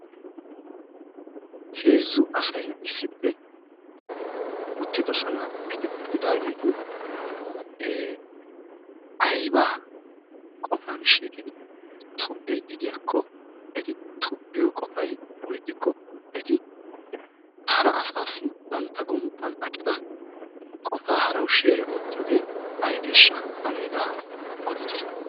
Heezzu asay issippe uttidosona. Eti uttidageti eee ayba qofan shiiqidi tobbidi deiyako eti tobbiyo qofay woy ixiko hara asaasi bantta gonppan aqqida qofaa harawu sheere ottiyoge aybesha? Ane hegaa oditte?